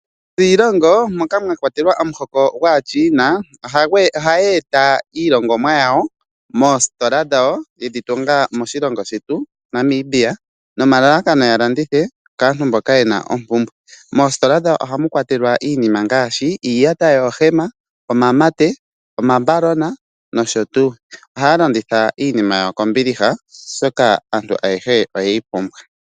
Aakwiilongo moka mwakwatelwa omuhoko gwaaChina ohaya eta iilongomwa yawo moositola dhawo yedhi tunga moshilongo shetu shaNamibia nomalalakano ya landithe kaantu mboka yena ompumbwe. Moositola dhawo ohamu kwatelwa iinima ngaashi iiyata yoohema, omamate, omambalona nosho tuu. Ohaya landitha iinima yawo kombiliha, oshoka aantu ayehe oye yi pumbwa.